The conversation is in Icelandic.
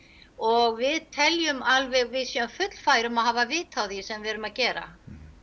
og við teljum alveg við séum fullfær um að hafa vit á því sem við erum að gera